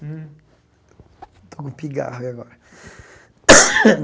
Hmm estou com um pigarro e agora.